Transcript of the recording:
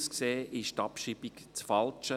Aus meiner Sicht ist die Abschreibung das Falsche.